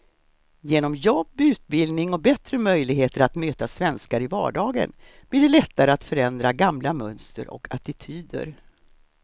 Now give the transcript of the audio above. Genom jobb, utbildning och bättre möjligheter att möta svenskar i vardagen blir det lättare att förändra gamla mönster och attityder.